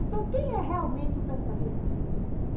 Então quem é realmente o pescador?